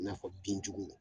I na fɔ bin juguw